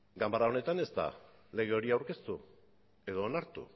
ganbara honetan ez da lege hori aurkeztu edo onartu